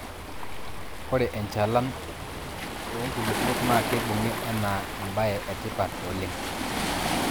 ore enchalana oo nkulupuok naa keibung'I anaa eba e etipat oleng